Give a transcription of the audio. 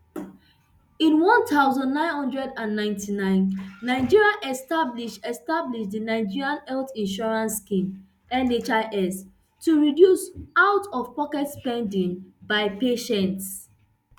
in one thousand, nine hundred and ninety-nine nigeria establish establish di nigerian health insurance scheme nhis to reduce out of pocket spending by patients